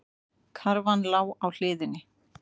Karfan lá á hliðinni.